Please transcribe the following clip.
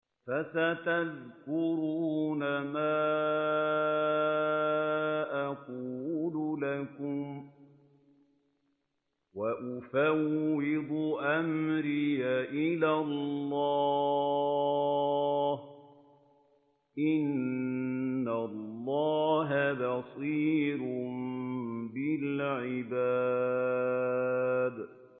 فَسَتَذْكُرُونَ مَا أَقُولُ لَكُمْ ۚ وَأُفَوِّضُ أَمْرِي إِلَى اللَّهِ ۚ إِنَّ اللَّهَ بَصِيرٌ بِالْعِبَادِ